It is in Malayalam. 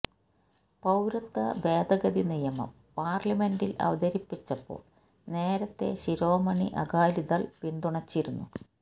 പൌരത്വ ഭേദഗതി നിയമം പാര്ലമെന്റില് അവതരിപ്പിച്ചപ്പോള് നേരത്തെ ശിരോമണി അകാലിദള് പിന്തുണച്ചിരുന്നു